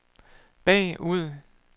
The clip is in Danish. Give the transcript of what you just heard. bagud